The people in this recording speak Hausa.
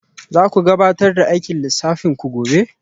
Za ku gabatar da aikin lissafin ku gobe?